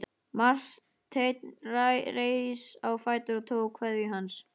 Marteinn reis á fætur og tók kveðju hans.